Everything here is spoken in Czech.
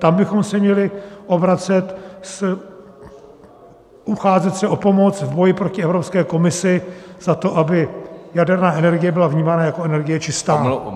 Tam bychom se měli obracet, ucházet se o pomoc v boji proti Evropské komisi za to, aby jaderná energie byla vnímána jako energie čistá.